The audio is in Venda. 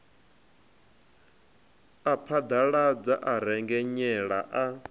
a phaḓaladza a rengenyela a